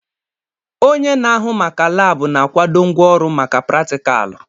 Onye na-ahụ maka laabụ na-akwado ngwaọrụ maka pratikaalụ.